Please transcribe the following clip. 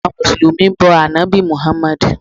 Àwọn mùsùlùmí bọ ànábì muhammadu